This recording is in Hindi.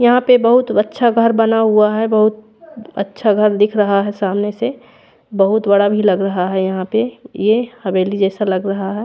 यहाँ पे बहुत वच्चा घर बना हुआ है बहुत अच्छा घर दिख रहा है सामने से बहत बड़ा भी लग रहा है यहाँ पे ये हवेली जैसा लग रहा है।